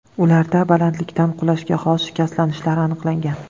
Ularda balandlikdan qulashga xos shikastlanishlar aniqlangan.